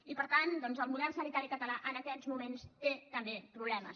i per tant el model sanitari català en aquests moments té també problemes